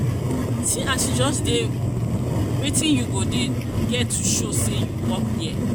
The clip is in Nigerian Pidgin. see as you just dey wetin you get to show say you work there